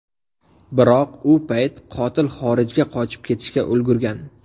Biroq, u payt qotil xorijga qochib ketishga ulgurgan.